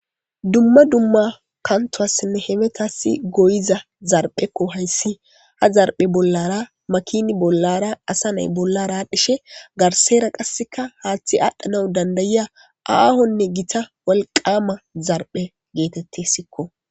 dumma dumma kantoassinne hemetassi goyiza zarphekko hayssi ha zarphe bollara makini bollara asa nay bollara dhishe garsera qasseka haaththi aadhdhanawu dandayiya aahonne gita walqama zarphe geetettessikko